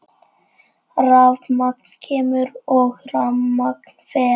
Rafmagn kemur og rafmagn fer.